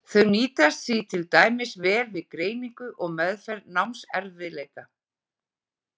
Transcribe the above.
Þau nýtast því til dæmis vel við greiningu og meðferð námserfiðleika.